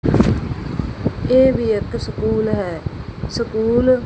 ਇਹ ਵੀ ਇੱਕ ਸਕੂਲ ਹੈ ਸਕੂਲ --